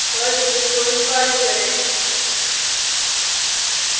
Perl script को निष्पादित करें